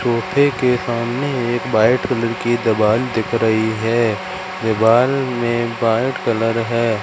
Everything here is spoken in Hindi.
सोफे के सामने एक बाइट कलर की दिवाल दिख रही है दिवाल में बाइट कलर है।